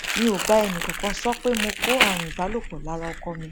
mi ò bá ẹnìkankan sọ pé mo kó àrùn ìbálòpọ lára ọkọ mi